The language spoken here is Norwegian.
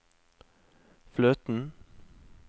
fløten